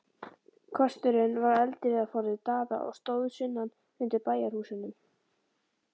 Kösturinn var eldiviðarforði Daða og stóð sunnan undir bæjarhúsunum.